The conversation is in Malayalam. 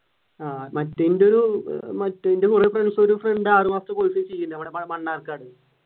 ആഹ് മറ്റേ എന്റെയൊരു ഒരു ഫ്രണ്ട് ആറു മാസത്തെ course ചെയ്യുന്നുണ്ട് ഞമ്മുടെ മണ്ണാർക്കാട്